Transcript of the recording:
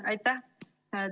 Aitäh!